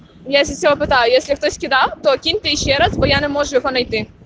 я сейчас попытаюсь если кто-то кем-то ещё раз буяна можешь говорить